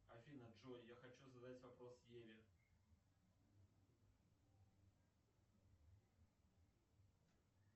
афина джой я хочу задать вопрос еве